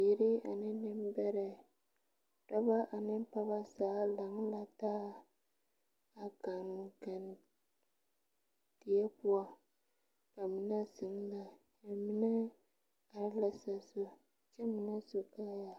Bibiire ane nimbɛrrɛ dɔbɔ ane pɔɔbɔ zaa lang la taa a kankandie poɔ ba mine zeŋ la ba mine are la sazu kyɛ mine su kaayaa.